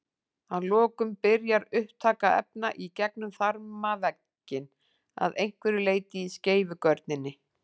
Að lokum byrjar upptaka efna í gegnum þarmavegginn að einhverju leyti í skeifugörninni.